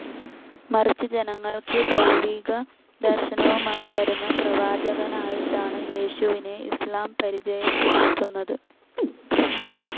മറിച്ച് ജനങ്ങൾക്ക് ദൈവികദർശനവുമായി വരുന്ന പ്രവാചകനായിട്ടാണ് യേശുവിനെ ഇസ്‌ലാം പരിചയപ്പെടുത്തുന്നത്.